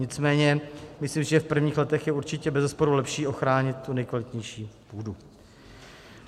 Nicméně myslím si, že v prvních letech je určitě bezesporu lepší ochránit tu nejkvalitnější půdu.